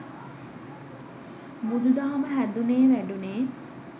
බුදුදහම හැදුනේ වැඩුනේ